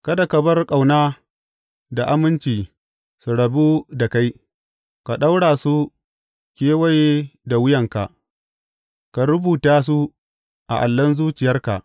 Kada ka bar ƙauna da aminci su rabu da kai; ka ɗaura su kewaye da wuyanka, ka rubuta su a allon zuciyarka.